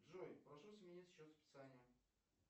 джой прошу сменить счет списания